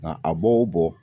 Nka a bɔ o bɔ